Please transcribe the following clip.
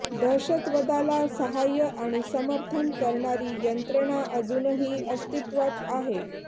दहशतवदाला सहाय्य आणि समर्थन करणारी यंत्रणा अजूनही अस्तित्वात आहे